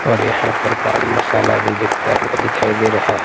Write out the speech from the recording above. और यहां पर पान मसाला भी भिकता हुआ दिखाई दे रहा है।